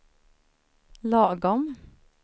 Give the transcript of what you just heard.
lagom